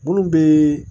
Munnu be